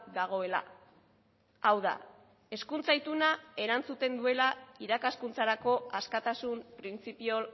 dagoela hau da hezkuntza ituna erantzuten duela irakaskuntzarako askatasun printzipio